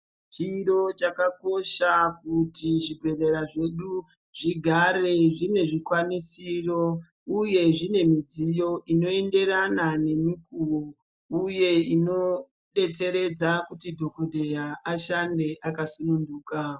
Chiro chaka kosha kuti zvi bhedhlera zvedu zvigare tine zvikwanisiro uye zvine midziyo ino enderana ne mikovo uye ino betseredza kuti dhokoteya ashande aka singunuka.